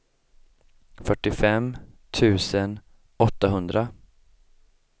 fyrtiofem tusen åttahundra